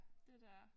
Det DR